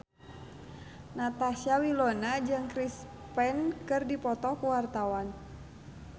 Natasha Wilona jeung Chris Pane keur dipoto ku wartawan